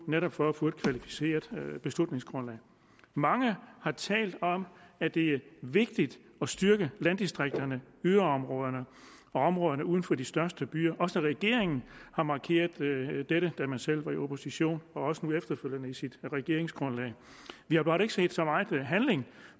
netop for at få et kvalificeret beslutningsgrundlag mange har talt om at det er vigtigt at styrke landdistrikterne yderområderne og områderne uden for de største byer også regeringen har markeret dette da man selv var i opposition og også nu efterfølgende i sit regeringsgrundlag vi har bare ikke set så meget handling